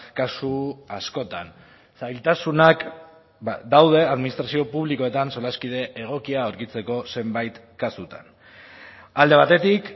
kasu askotan zailtasunak daude administrazio publikoetan solaskide egokia aurkitzeko zenbait kasutan alde batetik